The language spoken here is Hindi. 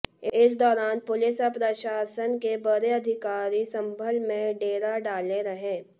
इस दौरान पुलिस और प्रशासन के बड़े अधिकारी संभल में डेरा डाले रहे